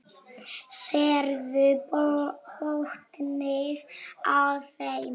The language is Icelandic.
Sérðu botninn á þeim.